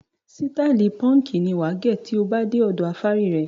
Sítáálì púńkì ni wà á gẹ̀ tí ó bá dé ọ̀dọ afárí rẹ.